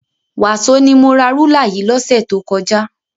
Wàsó ni mo ra rúlà yìí lọ́sẹ̀ tó kọjá.